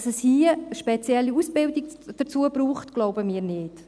Dass es hierzu aber eine spezielle Ausbildung braucht, glauben wir nicht.